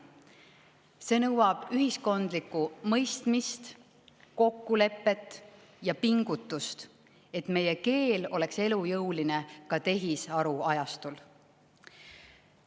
See nõuab ühiskondlikku mõistmist, kokkulepet ja pingutust, et meie keel oleks elujõuline ka tehisaruajastul.